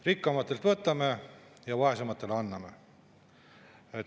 Rikkamatelt võtame ja vaesematele anname.